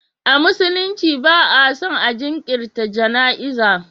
A musulunci ba a son a jinkirta jana'iza.